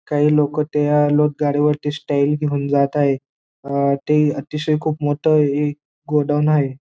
काही लोक त्या लोट गाडी वरती स्टाईल घेऊन जात आहे. अ ते अतिशय खूप मोठं एक गोडाऊन आहे.